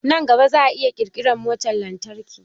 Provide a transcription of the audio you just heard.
Nan gaba za a iya ƙirƙiran motar lantarki